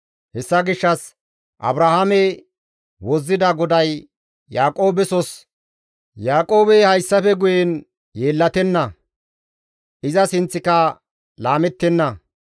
Hessa gishshas Abrahaame wozzida GODAY Yaaqoobesos, «Yaaqoobey hayssafe guye yeellatenna; iza sinththika laamettenna.